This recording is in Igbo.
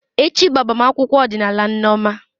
Echi bụ agbamakwụkwọ ọdịnala Nneoma.